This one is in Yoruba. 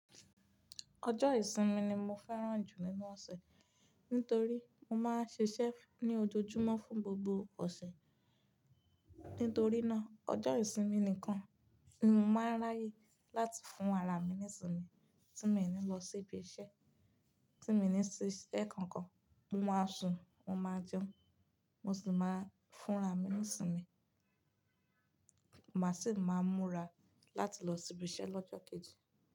Ọjọ́ ìsinmi ni mo fẹ́ràn jù nínú ọ̀sẹ̀, nítorí mo máa ń ṣe ṣẹ́f ní ojoojúmọ́ fún gbogbo ọ̀sẹ̀. Nítorí náà, ọjọ́ ìsinmi nìkan ni mo máa ń ráyè láti fún ara mi ní ìsinmi tí mi ò ní lọ sí ibi iṣẹ́ tí mi ò ní ṣe ẹ̀ kankan. Mo máa sùn, mo máa jẹun, mo sì máa fún ara mi ní ìsinmi. Mo máa sì máa múra láti lọ sí ibi iṣẹ́ lọ́jọ́ kejì.